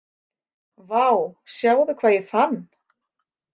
Vá, sjáðu hvað ég fann